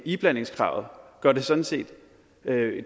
iblandingskravet gør sådan set